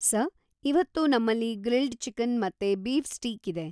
Sir, ಇವತ್ತು ನಮ್ಮಲ್ಲಿ grilled chicken ಮತ್ತೆ ಬೀಫ್ ಸ್ಟೀಕ್ ಇದೆ .